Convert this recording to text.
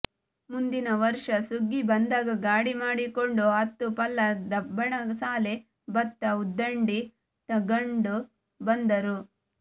ಮುಂದಿನ ವರ್ಷ ಸುಗ್ಗಿ ಬಂದಾಗ ಗಾಡಿಮಾಡಿಕೊಂಡು ಹತ್ತು ಪಲ್ಲ ದಬ್ಬಣಸಾಲೆ ಭತ್ತ ಉದ್ದಂಡಿ ತಗಂಡು ಬಂದರು